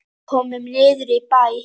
Komum niður í bæ!